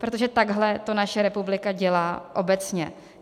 Protože takhle to naše republika dělá obecně.